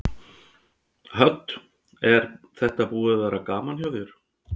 Hödd: Er þetta búið að vera gaman hjá þér?